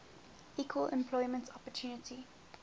equal employment opportunity